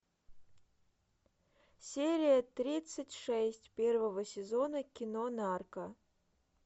серия тридцать шесть первого сезона кино нарко